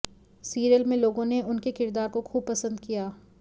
serial में लोगों ने उनके किरदार को खूब पसंद किया